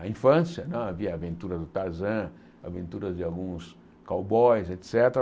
Na infância, hã havia aventuras do Tarzan, aventuras de alguns cowboys, et cétera.